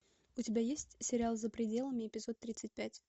у тебя есть сериал за пределами эпизод тридцать пять